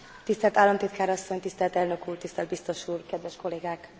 Tisztelt Államtitkár Asszony, Tisztelt Elnök Úr, Tisztelt Biztos Úr, Kedves Kollégák!